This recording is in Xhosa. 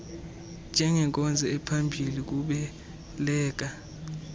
njengenkonzo ephambi kokubeleka